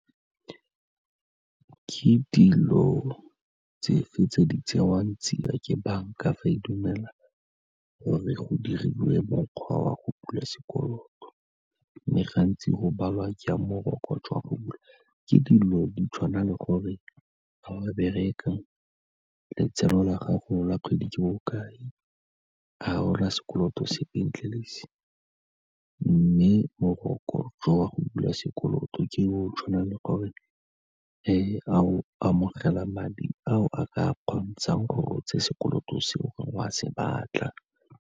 Ke dilo tse fe tse di tsewang tsia ke banka fa e dumela gore go diriwe mokgwa wa go bula sekoloto, mme gantsi go balwa jang morokotso go bula, ke dilo di tshwana le gore fa o bereka, letseno la gago la kgwedi ke bokae, a ga o na sekoloto sepe ntle le se, mme morokotso wa go bula sekoloto ke o tshwanang le gore a o amogela madi ao a ka kgontshang gore o tse sekoloto seo gore wa se batla.